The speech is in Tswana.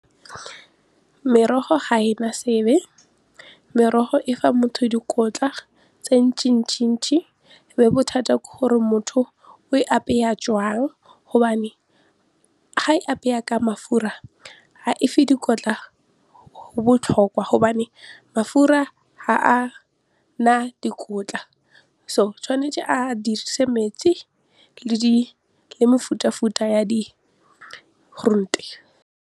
Merogo ga ena sebe, merogo e fa motho dikotla tse mme bothata ke gore motho o e apeya jwang gobane ga apeya ka mafura ga efe dikotla go botlhokwa gobane mafura ga a na dikotla so tshwanetse a dirise metsi le mefutafuta ya di .